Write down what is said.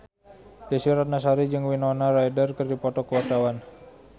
Desy Ratnasari jeung Winona Ryder keur dipoto ku wartawan